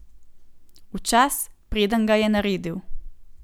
V čas, preden ga je naredil.